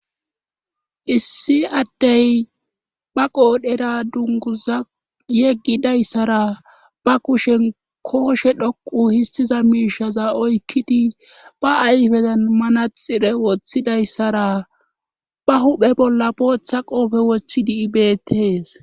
issi addey ba qoodhera dunguza yeggidayssara ba kushen kooshe dhoqu histiza miishaza oykkidi ba ayfezan manaxire woththidayssara ba huphe bolla booththa qoofe woththidi bettees